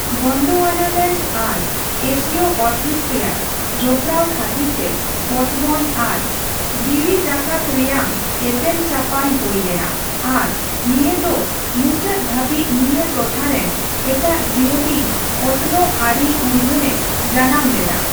ᱜᱚᱱᱰᱳᱣᱟᱱᱟᱞᱮᱱᱰ ᱟᱨ ᱮᱥᱤᱭᱳ ᱚᱛᱦᱤᱸᱥ ᱨᱮᱭᱟᱜ ᱡᱚᱯᱚᱲᱟᱣ ᱠᱷᱟᱛᱤᱨᱛᱮ ᱚᱛᱢᱚᱱ ᱟᱨ ᱡᱤᱣᱤᱡᱟᱠᱟᱛ ᱨᱮᱭᱟᱝ ᱮᱯᱮᱢᱪᱟᱯᱟᱞ ᱦᱳᱭ ᱞᱮᱱᱟ ᱟᱨ ᱱᱤᱭᱟᱹ ᱫᱚ ᱢᱩᱪᱟᱹᱫ ᱫᱷᱟᱹᱵᱤᱡ ᱱᱤᱭᱟᱹ ᱴᱚᱴᱷᱟ ᱨᱮᱱ ᱮᱴᱟᱜ ᱡᱤᱭᱟᱹᱞᱤ ᱚᱛᱱᱚᱜ ᱟᱹᱨᱤ ᱩᱨᱜᱟᱹᱱ ᱮ ᱡᱟᱱᱟᱢᱞᱮᱫᱟ ᱾